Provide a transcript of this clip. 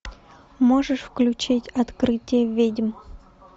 можешь включить открытие ведьм